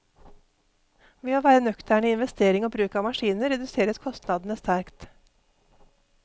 Ved å være nøkterne i investering og bruk av maskiner, reduseres kostnadene sterkt.